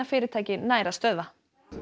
fyrirtækið nær að stöðva